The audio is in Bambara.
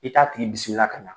I t'a tigi ka ɲa.